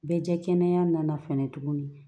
Bɛɛ kɛnɛya nana fɛnɛ tuguni